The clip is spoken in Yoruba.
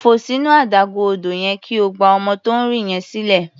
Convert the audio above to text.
Fò sínú adágún odò yẹn kí o gba ọmọ tó ń rì yẹn sílẹ̀.